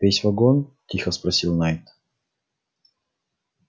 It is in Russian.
весь вагон тихо спросил найд